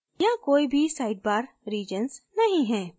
यहाँ कोई भी sidebar regions नहीं हैं